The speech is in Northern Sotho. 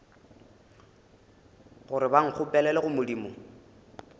gore ba nkgopelele go modimo